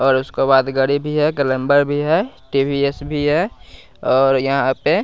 और उसके बाद गड़ी भी है गलंबर भी है टीवीएस भी है और यहाँ पे --